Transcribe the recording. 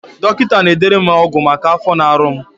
Dọkịta na-edere m ọgwụ maka afọ na-arụ m